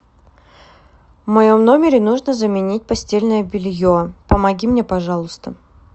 в моем номере нужно заменить постельное белье помоги мне пожалуйста